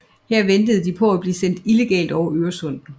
Her ventede de på at blive sendt illegalt over Øresund